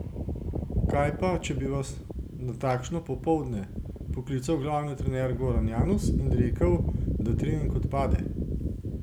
Kaj pa, če bi vas na takšno popoldne poklical glavni trener Goran Janus in rekel, da trening odpade?